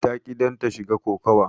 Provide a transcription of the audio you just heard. Ta ƙi danta shiga kokawa.